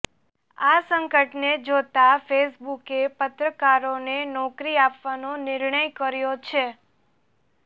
આ સંકટને જોતા ફેસબૂકે પત્રકારોને નોકરી આપવાનો નિર્ણય કર્યો છે